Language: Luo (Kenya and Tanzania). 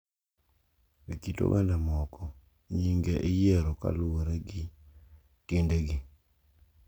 E kit oganda moko, nyinge iyiero kaluwore gi tiendegi,